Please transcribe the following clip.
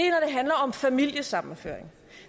handler om familiesammenføring